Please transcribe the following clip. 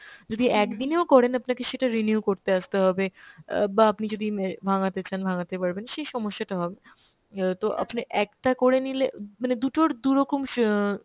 যদি একদিনেও করেন আপনাকে সেটা renew করতে আসতে হবে অ্যাঁ বা আপনি যদি অ্যাঁ ভাঙ্গাতে চান ভাঙ্গাতে পারবেন, সেই সমস্যাটা হবে না। অ্যাঁ তো আপনি একটা করে নিলে মানে দু'টোর দু'রকম স~